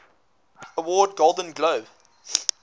award golden globe